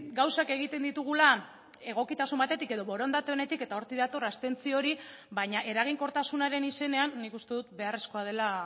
gauzak egiten ditugula egokitasun batetik edo borondate onetik eta hortik dator abstentzio hori baina eraginkortasunaren izenean nik uste dut beharrezkoa dela